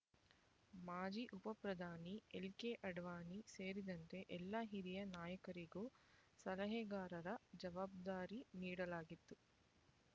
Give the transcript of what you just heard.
ಮಾಜಿ ಉಪಪ್ರಧಾನಿ ಎಲ್ಕೆ ಅಡ್ವಾಣಿ ಸೇರಿದಂತೆ ಎಲ್ಲ ಹಿರಿಯ ನಾಯಕರಿಗೂ ಸಲಹೆಗಾರರ ಜವಾಬ್ದಾರಿ ನೀಡಲಾಗಿತ್ತು